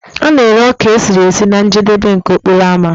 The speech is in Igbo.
A na-ere ọka esiri esi na njedebe nke okporo ámá